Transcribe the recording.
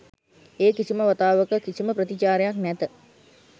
ඒ කිසිම වතාවක කිසිම ප්‍රතිචාරයක් නැත